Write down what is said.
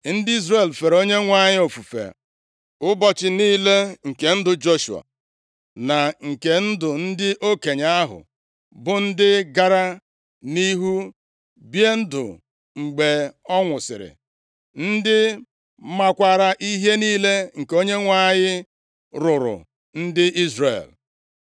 Ndị Izrel fere Onyenwe anyị ofufe ụbọchị niile nke ndụ Joshua, na nke ndụ ndị okenye ahụ, bụ ndị gara nʼihu bie ndụ mgbe ọ nwụsịrị, ndị maakwara ihe niile nke Onyenwe anyị rụụrụ ndị Izrel.